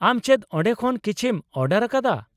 ᱟᱢ ᱪᱮᱫ ᱚᱸᱰᱮ ᱠᱷᱚᱱ ᱠᱤᱪᱷᱤᱢ ᱚᱰᱟᱨ ᱟᱠᱟᱫᱟ ?